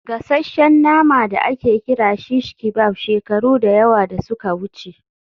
gasasshen nama da ake kira shish kebab shekaru da yawa da suka wuce